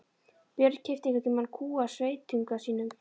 Björn keypti einhvern tíma kú af sveitunga sínum.